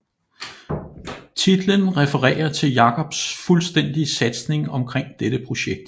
Titlen refererer til Jakobs fuldstændige satsning omkring dette projekt